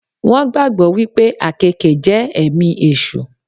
Wón gbàgbọ́ wípé àkéèke jẹ́ èmi èṣù